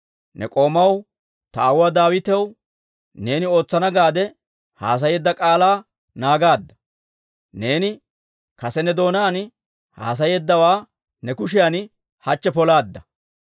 Ne k'oomaw, ta aawuwaa Daawitaw neeni ootsana gaade haasayeedda k'aalaa naagaadda; neeni kase ne doonaan haasayeeddawaa ne kushiyan hachche polaadda.